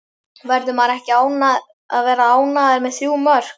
Verður maður ekki að vera ánægður með þrjú mörk?